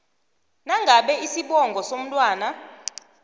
nangabe isibongo somntwana